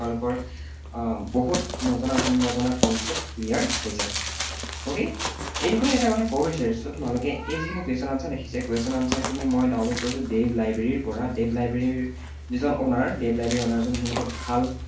আহ বহুত নজনা নজনা concept clear হৈ যাব। okay? এইডোখৰতে এটা কথা কব বিচাৰিছো তোমালোকে এই যিখিনি question, answer দেখিছা এই question, answer খিনি মই download কৰিছো device library ৰ পৰা। device library ৰ যিজন owner, device library ৰ owner জন মোৰ লগত ভাল